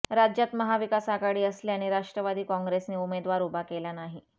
राज्यात महाविकास आघाडी असल्याने राष्ट्रवादी कॉंग्रेसने उमेदवार उभा केला नाही